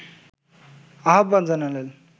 আহ্বান জানালেন